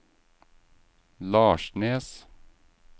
Larsnes